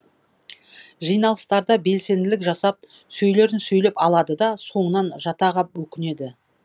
жиналыстарда белсенділік жасап сөйлерін сөйлеп алады да соңынан жата ғап өкінеді